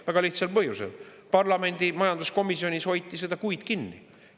Väga lihtsal põhjusel: parlamendi majanduskomisjonis hoiti seda kuid kinni.